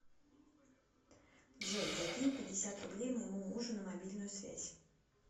джой закинь пятьдесят рублей моему мужу на мобильную связь